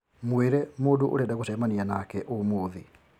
mwĩre mũndũ ũrenda gũcemania nake ũmũthĩ